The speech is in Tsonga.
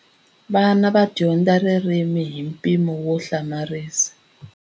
Vana va dyondza ririmi hi mpimo wo hlamarisa.